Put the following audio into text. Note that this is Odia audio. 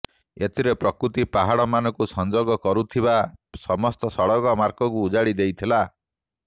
ଏଥିରେ ପ୍ରକୃତି ପାହାଡମାନଙ୍କୁ ସଂଯୋଗ କରୁଥିବା ସମସ୍ତ ସଡକମାର୍ଗକୁ ଉଜାଡିଦେଇଥିଲା